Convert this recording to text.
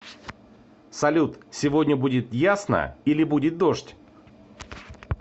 салют сегодня будет ясно или будет дождь